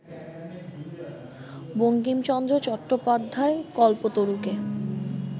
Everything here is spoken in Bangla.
বঙ্কিমচন্দ্র চট্টোপাধ্যায় কল্পতরুকে